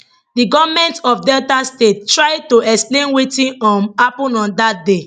di goment of delta state try to explain wetin um happen on dat day